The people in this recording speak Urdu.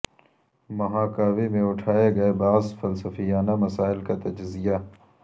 مہاکاوی میں اٹھائے گئے بعض فلسفیانہ مسائل کا تجزیہ